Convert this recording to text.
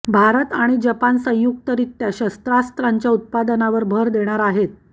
भारत आणि जपान संयुक्तरित्या शस्त्रास्त्रांच्या उत्पादनावर भर देणार आहेत